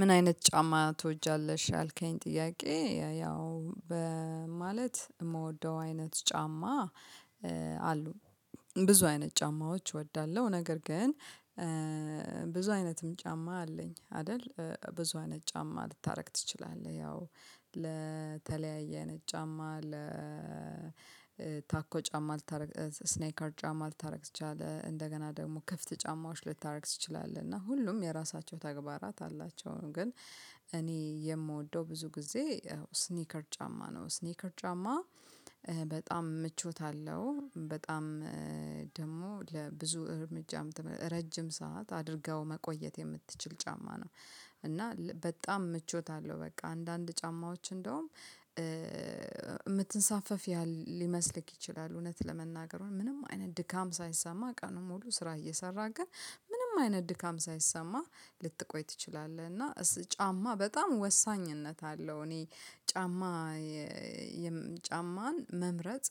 ምን አይነት ጫማ ትወጃለሽ? ያልከኝ ጥያቄ ያው ማለት የምወደው አይነት ጫማ አሉ። ብዙ አይነት ጫማዎች እወዳለሁ። ነገር ግን ብዙ አይነትም ጫማ አለኝ አይደል ብዙ አይነት ጫማ ልታደርግ ትችላለህ? ያው ለተለያየ አይነት ጫማ ለታኮ ጫማ ልታረግ ስኔከር ጫማ ልታደርግ ትችላለህ እንደገና ደግሞ ክፍት ጫማዎች ልታደርግ ትችላለህ እና ሁሉም የራሳቸው ተግባራት አላቸው ግን እኔ የምወደው ብዙ ጊዜ ስኒከር ጫማ ነው። ስኒከር ጫማ በጣም ምቾት አለው በጣም ደግሞ ለብዙ እርምጃም ረጅም ሰዓት አድርኸው መቆየት የምትችል ጫማ ነው። እና በጣም ምቾት አለው በቃ አንዳንድ ጫማዎች እንደውም የምትንሳፈፍ ያህል ሊመስልህ ይችላል። እውነት ለመናገር ውይ ምንም አይነት ድካም ሳይሰማህ ቀኑን ሙሉ ስራ እየሰራህ ግን ምንም አይነት ድካም ሳይሰማህ ልትቆይ ትችላለህ። እና ጫማ በጣም ወሳኝነት አለው። እኔ ጫማ ጫማን መምረጥ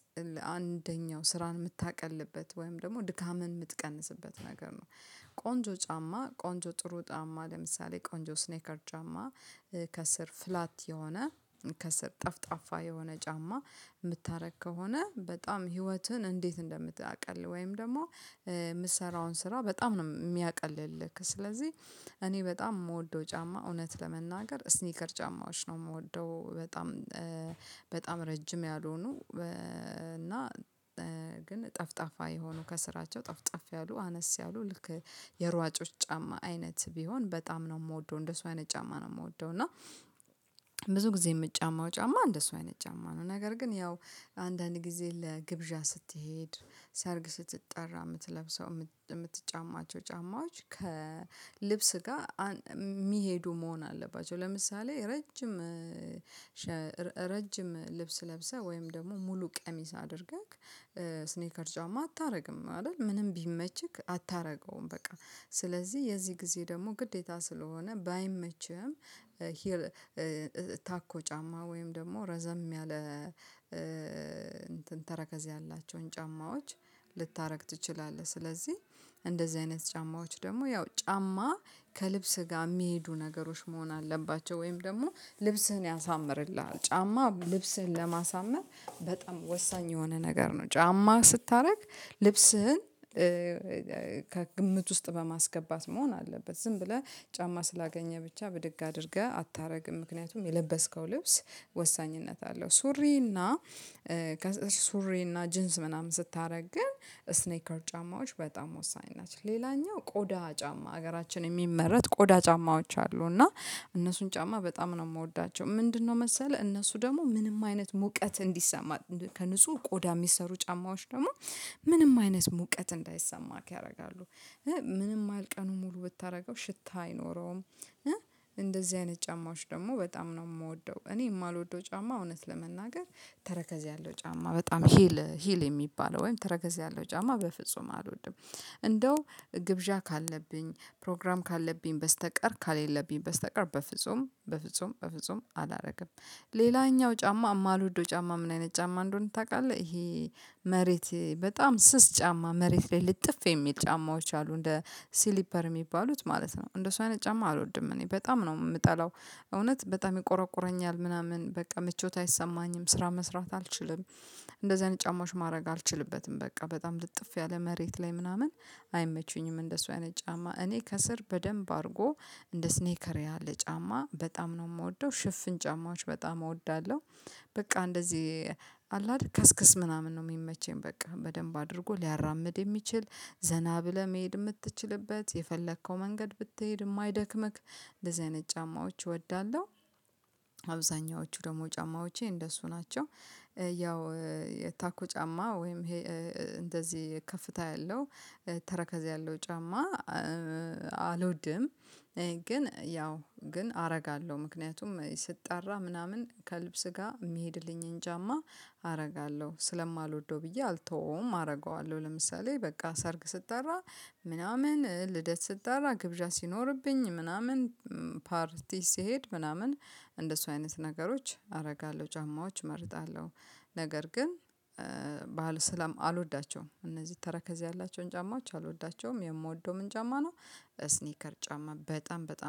አንደኛው ስራን የምታቀልበት ወይም ደግሞ ድካምን የምትቀንስበት ነገር ነው። ቆንጆ ጫማ ቆንጆ ጥሩ ጫማ ለምሳሌ ቆንጆ ስኔከር ጫማ ከስር ፍላት የሆነ ከስር ጠፍጣፋ የሆነ ጫማ የምታደርግ ከሆነ በጣም ህይወትህን እንዴት እንደምታቀል ወይም ደግሞ የምትሰራውን ስራ በጣም ነው የሚያቀልልህ ስለዚህ። እኔ በጣም የምወደው ጫማ እውነት ለመናገር ስኒከር ጫማዎች ነው። የምወደው በጣም በጣም ረጅም ያልሆኑ እና ግን ጠፍጣፋ የሆኑ ከስራቸው ጠፍጠፍ ያሉ አነስ ያሉ ልክ የሯጮች ጫማ አይነት ቢሆን በጣም ነው የምወደው እንደሱ አይነት ጫማ ነው የምወደው። እና ብዙ ጊዜ የምጫማው ጫማ እንደሱ አይነት ጫማ ነው። ነገር ግን ያው አንዳንድ ጊዜ ለግብዣ ስትሄድ ሰርግ ስትጠራ የምትለብሰው የምትጫማቸው ጫማዎች ከልብስ ጋር የሚሄዱ መሆን አለባቸው። ለምሳሌ ረጅም ረጅም ልብስ ለብሰህ ወይም ደግሞ ሙሉ ቀሚስ አድርገህ ስኔከር ጫማ አታደርግም አይደል ምንም ቢመችክ አታደርገውም። በቃ ስለዚህ የዚህ ጊዜ ደግሞ ግዴታ ስለሆነ ባይመችህም ሂል ታኮ ጫማ ወይም ደግሞ ረዘም ያለ እንትን ተረከዝ ያላቸውን ጫማዎች ልታደርግ ትችላለህ። ስለዚህ እንደዚህ አይነት ጫማዎች ደግሞ ያው ጫማ ከልብስህ ጋር የሚሄዱ ነገሮች መሆን አለባቸው። ወይም ደግሞ ልብስህን ያሳምርልሃል ጫማ ልብስህን ለማሳመር በጣም ወሳኝ የሆነ ነገር ነው። ጫማ ስታደርግ ልብስህን ከግምት ውስጥ በማስገባት መሆን አለበት ዝም ብለህ ጫማ ስላገኘህ ብቻ ብድግ አድርገህ አታደርግም ምክንያቱም የለበስከው ልብስ ወሳኝነት አለው። ሱሪ እና ከሱሪ እና ጅንስ ምናምን ስታደርግ ግን ስኔከር ጫማዎች በጣም ወሳኝ ናቸው። ሌላኛው ቆዳ ጫማ ሀገራችን የሚመረት ቆዳ ጫማዎች አሉ። እና እነሱን ጫማ በጣም ነው የምወዳቸው ምንድነው? መሰለህ እነሱ ደግሞ ምንም አይነት ሙቀት እንዲሰማ ከንጹህ ቆዳ የሚሰሩ ጫማዎች ደግሞ ምንም አይነት ሙቀት እንዳይሰማክ ያደርጋሉ። ምንም ያህል ቀኑን ሙሉ ብታደርገው ሽታ አይኖረውም። እንደዚህ አይነት ጫማዎች ደግሞ በጣም ነው የምወደው። እኔ የማልወደው ጫማ እውነት ለመናገር ተረከዝ ያለው ጫማ በጣም ሂል ሂል የሚባለው ወይም ተረከዝ ያለው ጫማ በፍጹም አልወድም። እንደው ግብዣ ካለብኝ ፕሮግራም ካለብኝ በስተቀር ካሌለብኝ በስተቀር በፍጹም በፍጹም በፍጹም አላደርግም። ሌላኛው ጫማ የማልወደው ጫማ ምን አይነት ጫማ እንደሆነ ታውቃለህ? ይሄ መሬት በጣም ስስ ጫማ መሬት ላይ ልጥፍ የሚል ጫማዎች አሉ እንደ ስሊፐር የሚባሉት ማለት ነው። እንደሱ አይነት ጫማ አልወድም እኔ በጣም ነው የምጠላው። እውነት በጣም ይቆረቁረኛል ምናምን በቃ ምቾት አይሰማኝም ስራ መስራት አልችልም። እንደዚህ አይነት ጫማዎች ማድረግ አልችልበትም በቃ በጣም ልጥፍ ያለ መሬት ላይ ምናምን አይመቹኝም። እንደሱ አይነት ጫማ እኔ ከስር በደንብ አድርጎ እንደ ስኔከር ያለ ጫማ በጣም ነው የምወደው። ሽፍን ጫማዎች በጣም እወዳለሁ። በቃ እንደዚህ አለ አደል ከስክስ ምናምን ነው የሚመቸኝ በቃ በደንብ አድርጎ ሊያራምድ የሚችል ዘና ብለህ መሄድ የምትችልበት የፈለከው መንገድ ብትሄድ የማይደክምህ እንደዚህ አይነት ጫማዎች እወዳለሁ። አብዛኛዎቹ ደግሞ ጫማዎቼ እንደሱ ናቸው። ያው የታኮ ጫማ ወይም ይሄ እንደዚህ ከፍታ ያለው ተረከዝ ያለው ጫማ አልወድም። ግን ያው ግን አደርጋለሁ ምክንያቱም ስጠራ ምናምን ከልብስ ጋር የሚሄድልኝን ጫማ አደርጋለሁ ስለማልወደው ብዬ አልተወውም አደርገዋለሁ። ለምሳሌ በቃ ሰርግ ስጠራ ምናምን ልደት ስጠራ ግብዣ ሲኖርብኝ ምናምን ፓርቲ ስሄድ ምናምን እንደሱ አይነት ነገሮች አደርጋለሁ ጫማዎች እመርጣለሁ። ነገር ግን አልወዳቸውም እነዚህ ተረከዝ ያላቸውን ጫማዎች አልወዳቸውም። የምወደውም ምን ጫማ ነው? ስኒከር ጫማ በጣም በጣም